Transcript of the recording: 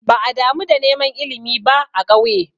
Ba'a damu da neman ilimi ba a ƙauye.